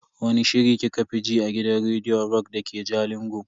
Wani shiri kika fi ji a gidan rediyon rock dake jalingo?